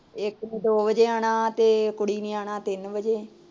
ਇਕ ਨੇ ਦੋ ਵਜੇ ਆਣਾ ਤੇ ਕੁੜੀ ਨੇ ਆਣਾ ਤਿੰਨ ਵਜੇ